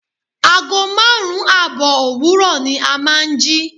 Ago márùn-ún àbọ̀ òwúrò ni a máa ń jí.